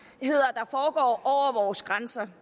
at over vores grænser